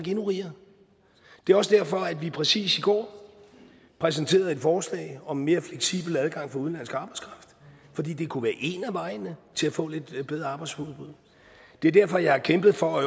endnu rigere det er også derfor vi præcis i går præsenterede et forslag om mere fleksibel adgang for udenlandsk arbejdskraft fordi det kunne være en af vejene til at få lidt bedre arbejdsudbud det er derfor jeg har kæmpet for